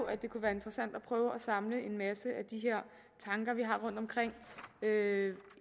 at det kunne være interessant at prøve samle en masse af de her tanker vi har rundt omkring